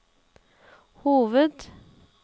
hoved